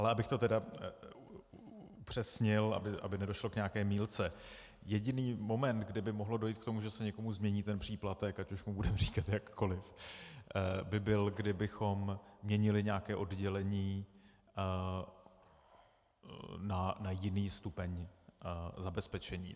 Ale abych to tedy upřesnil, aby nedošlo k nějaké mýlce, jediný moment, kdy by mohlo dojít k tomu, že se někomu změní ten příplatek, ať už mu budeme říkat jakkoliv, by byl, kdybychom měnili nějaké oddělení na jiný stupeň zabezpečení.